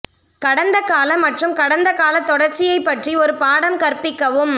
கடந்த கால மற்றும் கடந்தகால தொடர்ச்சியைப் பற்றி ஒரு பாடம் கற்பிக்கவும்